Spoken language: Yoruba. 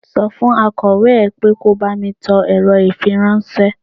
Sọ fún akọ̀wé ẹ pé kò bá mi tẹ ọ̀rọ̀ ifíráńṣẹ́.